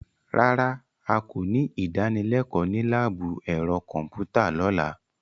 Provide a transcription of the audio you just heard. Rárá,a kò ní ìdánilẹ́kọ̀ọ́ ní láàbù ẹ̀rọ kọ̀m̀pútà lọ́la.